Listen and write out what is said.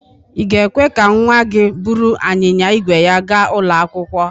Ị̀ ga-ekwe ka nnwa gị buru anyịnya ígwè ya gaa ụlọ akwụkwọ?